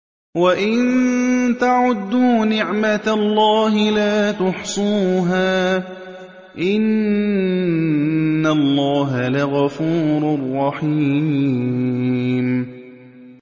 وَإِن تَعُدُّوا نِعْمَةَ اللَّهِ لَا تُحْصُوهَا ۗ إِنَّ اللَّهَ لَغَفُورٌ رَّحِيمٌ